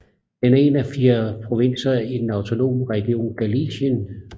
Den er en af fire provinser i den autonome region Galicien